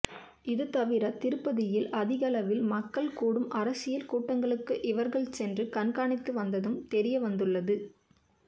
இதுதவிர திருப்பதியில் அதிகளவில் மக்கள் கூடும் அரசியல் கூட்டங்களுக்கு இவர்கள் சென்று கண்காணித்து வந்ததும் தெரியவந்துள்ளது